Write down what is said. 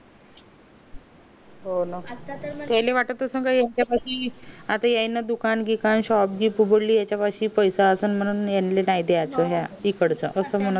हो ना तेनला वाट असेल कि यांनी आता दुकान बिकांन शॉप बीप उघडलीये तेव्हा पैसा असेन म्हणून इकडचा असं म्हणत होती